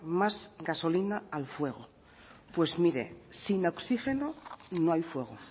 más gasolina al fuego pues mire sin oxigeno no hay fuego